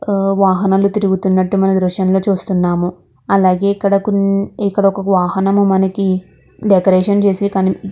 వాహనను తిరుగుతున్నట్టు మన దృశ్యం లో చూస్తున్నాము. అలాగే కోని ఇక్కడ ఒక వాహనం మనకి డెకొరేషన్ చేసే --